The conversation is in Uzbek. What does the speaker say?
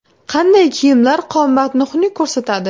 Qanday kiyimlar qomatni xunuk ko‘rsatadi?.